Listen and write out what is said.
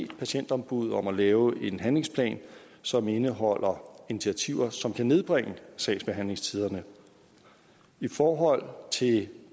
patientombuddet om at lave en handlingsplan som indeholder initiativer som kan nedbringe sagsbehandlingstiderne i forhold til